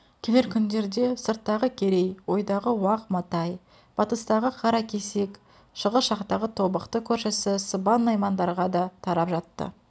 келер күндерде сырттағы керей ойдағы уақ матай батыстағы қаракесек шығыс жақтағы тобықты көршісі сыбан наймандарға да тарап жатты